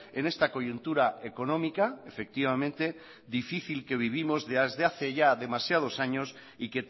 en esta coyuntura económica efectivamente difícil que vivimos desde hace ya demasiados años y